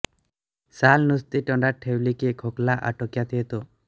साल नुसती तोंडात ठेवली की खोकला आटोक्यात येतो